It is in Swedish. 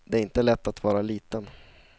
Det är inte lätt att vara liten.